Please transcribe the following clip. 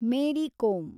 Mary Kom